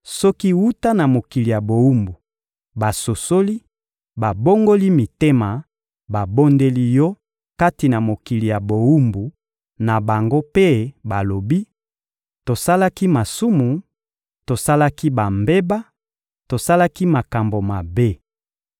soki, wuta na mokili ya bowumbu, basosoli, babongoli mitema, babondeli Yo kati na mokili ya bowumbu na bango mpe balobi: «Tosalaki masumu, tosalaki bambeba, tosalaki makambo mabe;»